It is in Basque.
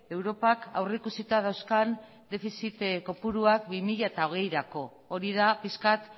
europak aurrikusita dauzkan defizit kopuruak bi mila hogeirako hori da pixkat